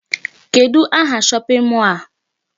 Kedụ aha shopping mall a?